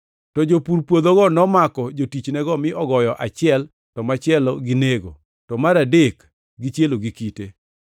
“To jopur puodhogo nomako jotichnego mi ogoyo achiel, to machielo ginego to mar adek gichielo gi kite.